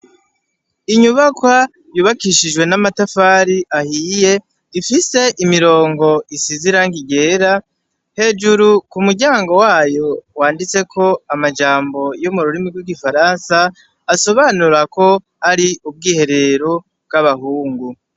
Inyubakwa yubakishijwe n'amatafari ahiye, ifise imirongo isize irangi ryera, hejuru ku muryango wayo wanditseko amajambo yo mu rurimi rw'igifaransa, asobanura ko ari ubwiherero bw'abahungu.